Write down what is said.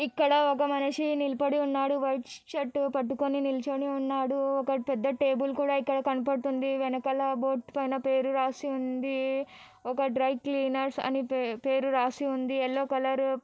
ఇక్కడ ఒక మనిషి నిలపడి ఉన్నాడు వైట్ షర్ట్ పట్టుకుని నిల్చుని ఉన్నాడు ఒక పెద్ద టేబుల్ కూడా ఇక్కడ కనపడుతుంది వెనకా ల బోర్డ్ పైన పేరు రాసి ఉంది ఒక డ్రై క్లీనర్స్ అని పేపేరు రాసి ఉంది యెల్లో కలర్ --